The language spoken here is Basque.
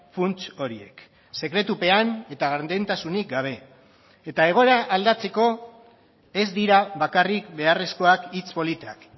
funts horiek sekretupean eta gardentasunik gabe eta egoera aldatzeko ez dira bakarrik beharrezkoak hitz politak